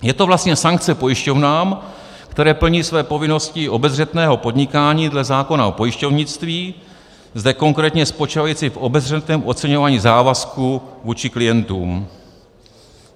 Je to vlastně sankce pojišťovnám, které plní své povinnosti obezřetného podnikání dle zákona o pojišťovnictví, zde konkrétně spočívající v obezřetném oceňování závazků vůči klientům.